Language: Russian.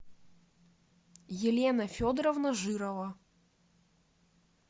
елена федоровна жирова